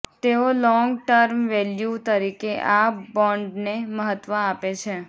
તેઓ long term value તરીકે આ બોન્ડને મહત્વ આપે છે